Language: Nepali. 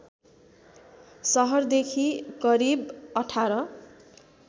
सहरदेखि करिब १८